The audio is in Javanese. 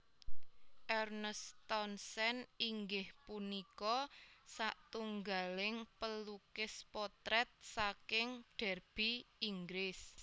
Ernest Townsend inggih punika satunggaling pelukis potrèt saking Derby Inggris